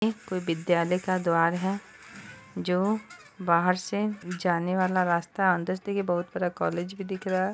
ये कोई विद्यालय का द्वार है जो बाहर से जाने वाला रास्ता अंदर से देखिये बहुत बड़ा कॉलेज भी दिख रहा है।